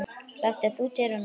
Læstir þú dyrunum?